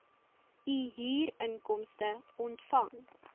u huurinkomste ontvang